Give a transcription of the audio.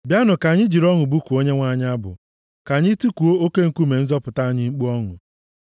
Bịanụ ka anyị jiri ọṅụ bụkuo Onyenwe anyị abụ; ka anyị tikuo oke nkume nzọpụta anyị mkpu ọṅụ.